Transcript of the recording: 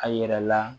A yɛrɛ la